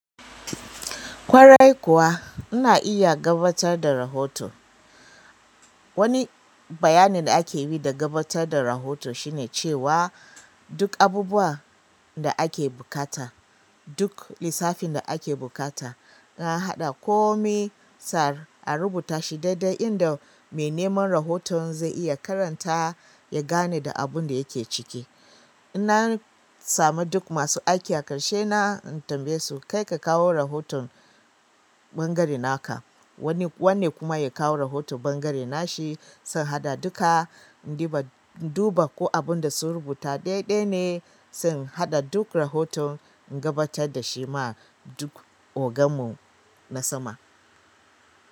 Kwarai kuwa, ina iya gabatar da rahoto. Wani bayanin da ake yi da gabatar da rahoto shine cewa duk abubuwan da ake buƙata, duk lissafin da ake buƙata, an haɗa kome sa a rubuta shi daidai inda mai neman rahoton zai iya karanta ya gane da abun da yake ciki. In na sami duk masu aiki a ƙarshe na in tambaye su kai ka kawo rahoton ɓangare naka, wannan kuma ya kawo rahoton ɓangare nashi, sai in haɗa duka, duba ko abun da sun rubuta daidai ne, sai in haɗa duk rahoton, in gabatar da shi ma duk oganmu na sama.